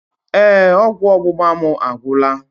Ee, ọgwụ ọgbụgba mụ agwụla.